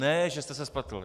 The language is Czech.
Ne že jste se spletl.